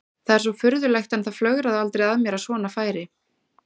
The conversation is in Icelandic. Það er svo furðulegt en það flögraði aldrei að mér að svona færi.